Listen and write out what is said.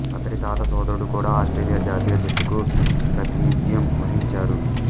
అతడి తాత సోదరుడు కూడా ఆస్ట్రేలియా జాతీయ జట్టుకు ప్రాతినిధ్యం వహించారు